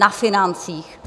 Na financích.